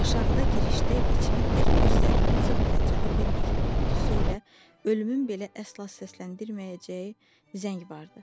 Aşağıda, girişdə içinə tək bir zərfin sığmayacağı bir məktub qutusu ilə ölümün belə əsla səsləndirməyəcəyi zəng vardı.